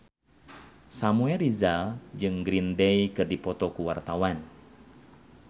Samuel Rizal jeung Green Day keur dipoto ku wartawan